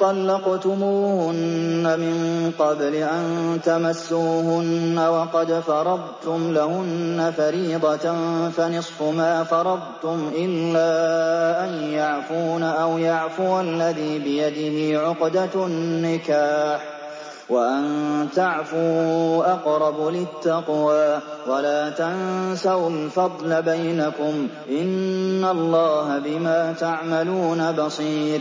طَلَّقْتُمُوهُنَّ مِن قَبْلِ أَن تَمَسُّوهُنَّ وَقَدْ فَرَضْتُمْ لَهُنَّ فَرِيضَةً فَنِصْفُ مَا فَرَضْتُمْ إِلَّا أَن يَعْفُونَ أَوْ يَعْفُوَ الَّذِي بِيَدِهِ عُقْدَةُ النِّكَاحِ ۚ وَأَن تَعْفُوا أَقْرَبُ لِلتَّقْوَىٰ ۚ وَلَا تَنسَوُا الْفَضْلَ بَيْنَكُمْ ۚ إِنَّ اللَّهَ بِمَا تَعْمَلُونَ بَصِيرٌ